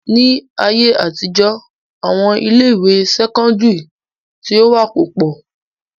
Ni ayé àtijọ́, àwọn ilé ìwé sẹ́kọ́ńdírì tí ó wà kò pọ̀.